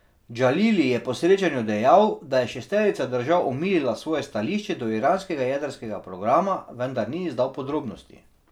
Džalili je po srečanju dejal, da je šesterica držav omilila svoje stališče do iranskega jedrskega programa, vendar ni izdal podrobnosti.